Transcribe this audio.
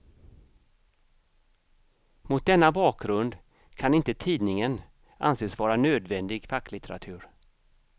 Mot denna bakgrund kan inte tidningen anses vara nödvändig facklitteratur.